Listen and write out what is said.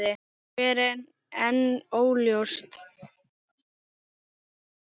Hver er enn óljóst.